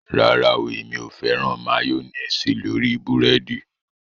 Rárá o èmi ò fẹ́ràn máyọ́néésì lórí búrẹ́dì